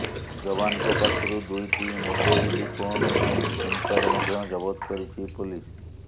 ଯବାନଙ୍କ ପାଖରୁ ଦୁଇଟି ମୋବଇଲ୍ ଫୋନ୍ ଏବଂ ସିମ୍ କାର୍ଡ ମଧ୍ୟ ଜବତ କରିଛି ପୋଲିସ